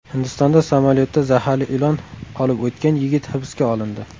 Hindistonda samolyotda zaharli ilon olib o‘tgan yigit hibsga olindi.